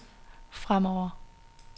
fremover